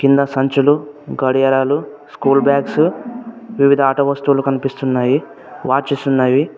కింద సంచులు గడియారాలు స్కూల్ బ్యాగ్స్ వివిధ ఆట వస్తువులు కనిపిస్తున్నాయి.